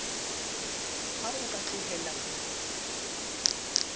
ha o ka tlohella ho